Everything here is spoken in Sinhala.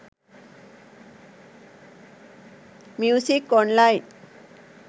music online